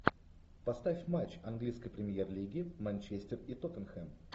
поставь матч английской премьер лиги манчестер и тоттенхэм